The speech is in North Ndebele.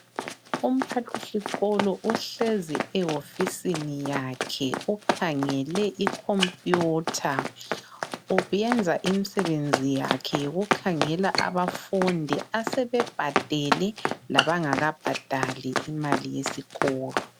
Umphathisikolo uhlezi ewofisini yakhe, ukhangele icomputer. Wenza imisebenzi yakhe yokukhangela abafundi asebebhadele labangakabhadali imali yesikolo.